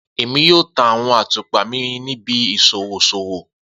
Emi yoo ta awọn atupa mi ni ibi iṣowo iṣowo